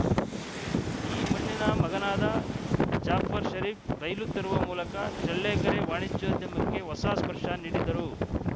ಈ ಮಣ್ಣಿನ ಮಗನಾದ ಜಾಫರ್‌ಶರೀಫ್‌ ರೈಲು ತರುವ ಮೂಲಕ ಚಳ್ಳಕೆರೆ ವಾಣಿಜ್ಯೋದ್ಯಮಕ್ಕೆ ಹೊಸ ಸ್ಪರ್ಶ ನೀಡಿದರು